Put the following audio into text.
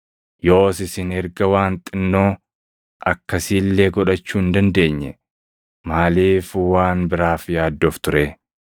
Yoos isin erga waan xinnoo akkasii illee godhachuu hin dandeenye, maaliif waan biraaf yaaddoftu ree?